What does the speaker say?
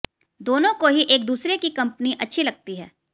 दोनों को ही एक दूसरे की कंपनी अच्छी लगती है